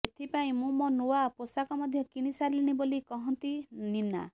ଏଥିପାଇଁ ମୁଁ ମୋ ନୂଆ ପୋଷାକ ମଧ୍ୟ କିଣି ସାରିଲିଣି ବୋଲି କହନ୍ତି ନୀନା